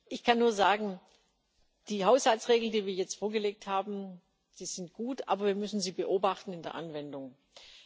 Ich kann nur sagen Die Haushaltsregeln, die wir jetzt vorgelegt haben, die sind gut, aber wir müssen sie in der Anwendung beobachten.